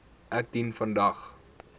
ek dien vandag